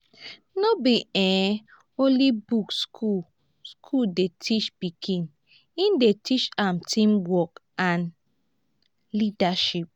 no be um only book school school dey teach pikin e dey teach am teamwork and leadership.